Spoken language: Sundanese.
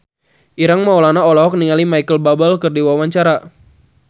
Ireng Maulana olohok ningali Micheal Bubble keur diwawancara